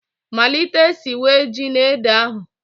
Malite siwe ji na ede ahụ